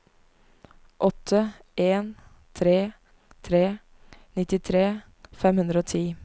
åtte en tre tre nittitre fem hundre og ti